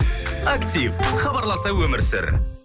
актив хабарласа өмір сүр